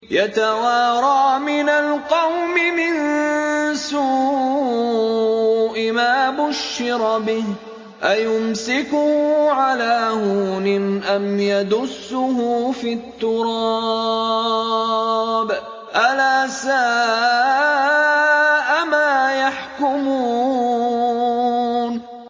يَتَوَارَىٰ مِنَ الْقَوْمِ مِن سُوءِ مَا بُشِّرَ بِهِ ۚ أَيُمْسِكُهُ عَلَىٰ هُونٍ أَمْ يَدُسُّهُ فِي التُّرَابِ ۗ أَلَا سَاءَ مَا يَحْكُمُونَ